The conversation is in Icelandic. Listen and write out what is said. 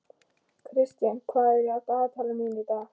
Kristian, hvað er í dagatalinu mínu í dag?